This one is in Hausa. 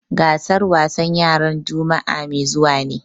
Gasar wasan yaran juma'a mai zuwa ne.